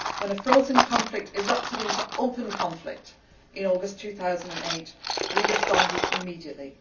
script. When a frozen conflict erupted into open conflict in August 2008, we responded immediately.